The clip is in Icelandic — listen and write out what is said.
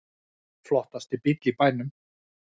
Flottasti bíll í bænum